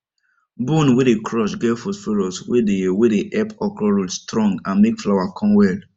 bone wey dem crush get phosphorus wey dey wey dey help okra root strong and make flower come well